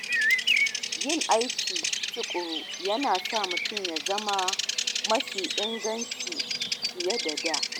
Yin aiki tukuru yana sa mutum ya zama mafi inganci fiye da da.